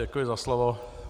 Děkuji za slovo.